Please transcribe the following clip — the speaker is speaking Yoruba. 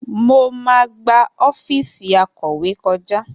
Mo máa gba ọ́fíìsì akọ̀wé kọjá